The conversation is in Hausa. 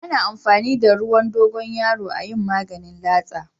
Ana amfani da ruwan dogoyaro a yin maganin latsa.